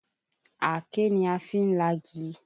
Àáké ni a fi ń lagi.